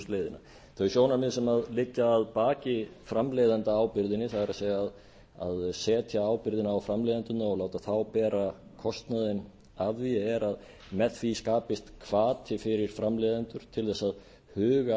úrvinnslusjóðsleiðina þau sjónarmið sem liggja að baki framleiðendaábyrgðinni það er að setja ábyrgðina á framleiðendurna og láta þá bera kostnaðinn af því er að með því skapist hvati fyrir framleiðendur til þess að huga